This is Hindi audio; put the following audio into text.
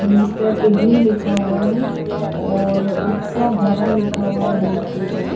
मिस्टर इडली लिखा हुआ है और उत्सव भवन लिखा हुआ है बोर्ड के ऊपर।